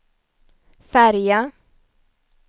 färja